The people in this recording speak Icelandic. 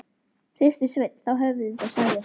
Hristi Sveinn þá höfuðið og sagði